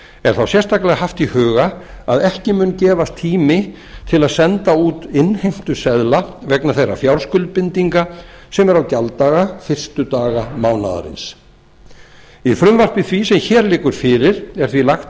er þá sérstaklega haft í huga að ekki mun gefast tími til að senda út innheimtuseðla vegna þeirra fjárskuldbindinga sem eru á gjalddaga fyrstu daga mánaðarins í frumvarpi því sem hér liggur fyrir er því lagt